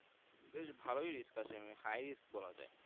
বেশ ভালোই Risk আছে High risk বলা যাই